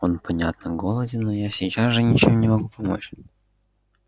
он понятно голоден но я же сейчас ничем не могу помочь